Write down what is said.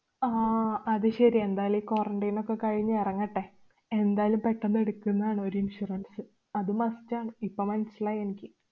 ആഹ് അതു ശരി. എന്തായാലും ഈ quarantine ഒക്കെ കഴിഞ്ഞു എറങ്ങട്ടെ. എന്തായാലും പെട്ടന്ന് എടുക്കുന്നാണ് ഒരു insurance. അത് must ആണ്. ഇപ്പൊ മനസ്സിലായി എനിക്ക്.